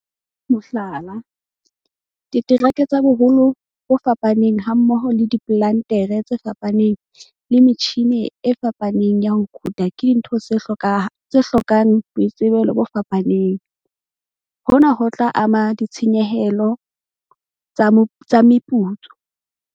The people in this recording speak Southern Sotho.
Mohlala - diterekere tsa boholo bo fapaneng hammoho le diplantere tse fapaneng le metjhine e fapaneng ya ho kotula ke dintho tse hlokang boitsebelo bo fapaneng - hona ho tla ama ditshenyehelo tsa meputso.